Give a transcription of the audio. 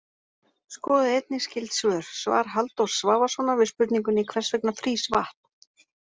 Skoðið einnig skyld svör: Svar Halldórs Svavarssonar við spurningunni Hvers vegna frýs vatn?